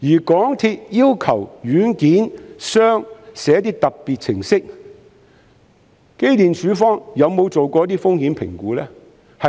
港鐵公司要求軟件商撰寫特別程式，機電工程署曾否做過一些風險評估呢？